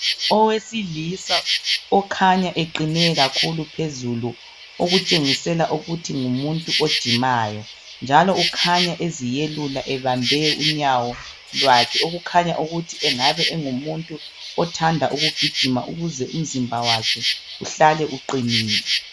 Owesilisa okhanya eqine kakhulu phezulu okutshengisela ukuthi ngumuntu ojimayo, njalo kukhanye eziyelula ebambe unyawo lwakhe okukhanya ukuthi engabe engimuntu othanda ukugijima ukuze umzimba wakhe uhlale uqinile.